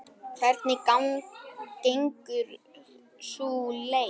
Hvernig gengur sú leit?